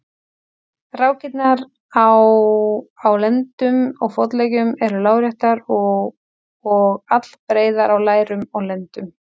Rákirnar á á lendum og fótleggjum eru láréttar og allbreiðar á lærum og lendum.